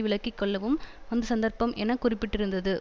விலக்கி கொள்ளவும் வந்த சந்தர்ப்பம் என குறிப்பிட்டிருந்தது